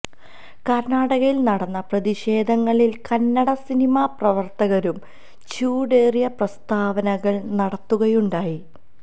കര്ണാടകയില് നടന്ന പ്രതിഷേധങ്ങളില് കന്നട സിനിമാ പ്രവര്ത്തകരും ചൂടേറിയ പ്രസ്താവനകള് നടത്തുകയുണ്ടായി